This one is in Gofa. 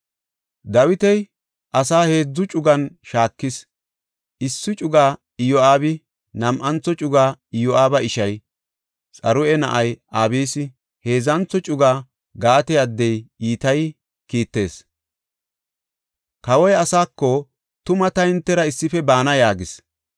Dawiti asa heedzu cugan shaakis; issi cugaa Iyo7aabi, nam7antho cugaa Iyo7aaba ishay, Xaruya na7ay Abisi, heedzantho cugaa Gaate addey Itayi kiittees. Kawoy asaako, “Tuma ta hintera issife baana” yaagis.